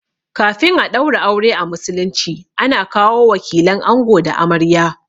Kafin a ɗaura aure a musulunci ana kawo wakilan ango da amarya